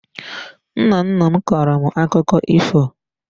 Nna nna m kọọrọ m akụkọ ifo